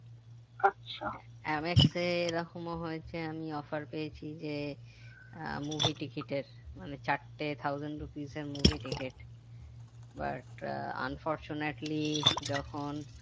MX এ এরকমও হয়েছে আমি offer পেয়েছি যে আহ movie ticket এর মানে চারটে thousand rupees এর movie ticket but unfortunately যখন